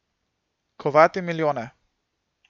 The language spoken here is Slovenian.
Kovati milijone.